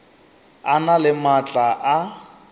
a na le maatla a